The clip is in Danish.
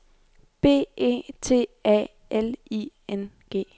B E T A L I N G